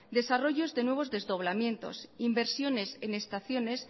desarrollos de nuevos desdoblamientos inversiones en estaciones